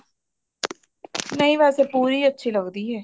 ਨਹੀਂ ਵੈਸੇ ਪੂਰੀ ਅੱਛੀ ਲੱਗਦੀ ਹੈ